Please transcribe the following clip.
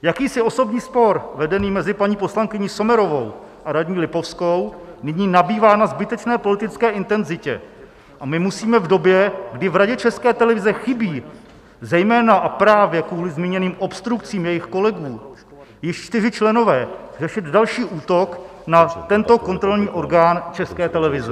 Jakýsi osobní spor vedený mezi paní poslankyní Sommerovou a radní Lipovskou nyní nabývá na zbytečné politické intenzitě a my musíme v době, kdy v Radě České televize chybí - zejména a právě kvůli zmíněným obstrukcím jejich kolegů - již čtyři členové, řešit další útok na tento kontrolní orgán České televize.